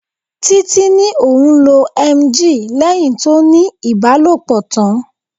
Títí ní òun lo "emgyl" lẹ́hìn tó ní ibalopo tán.